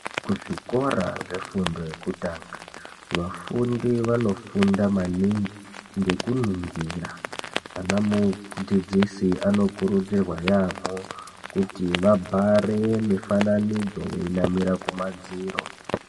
Kuzvikora zvefundo yekutanga vafundi vanofunda maningi ngekuningira . Anamudzidzi anokurudzirwa yaamho kuti vabhare mufananidzo veinamira kumadziro.